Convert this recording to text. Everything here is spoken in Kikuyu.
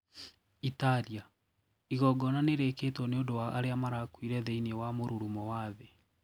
Italia:Igongona nĩrĩĩkĩtwo niũndũ wa aria marakuire thĩiniĩ wa morũrumo wa thĩĩ.